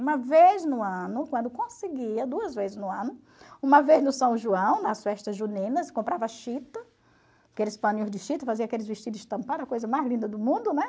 Uma vez no ano, quando conseguia, duas vezes no ano, uma vez no São João, nas festas juninas, comprava chita, aqueles paninhos de chita, fazia aqueles vestidos estampados, a coisa mais linda do mundo, né?